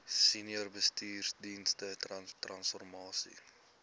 senior bestuursdienste transformasie